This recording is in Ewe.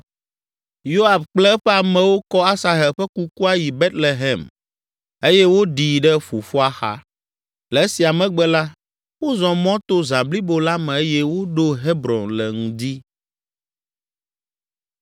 Yoab kple eƒe amewo kɔ Asahel ƒe kukua yi Betlehem eye woɖii ɖe fofoa xa. Le esia megbe la, wozɔ mɔ to zã blibo la me eye woɖo Hebron le ŋdi.